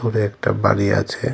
দূরে একটা বাড়ি আছে।